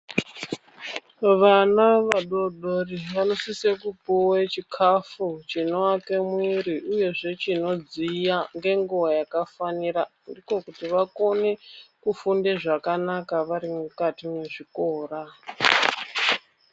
Vana vadodori vanosise kupuwe chikhafu chinowaka mwiri uyezve chinodziya ngenguwa yakafanira, ndiko kuti vakone kufunde zvakanaka vari mukati mezvikora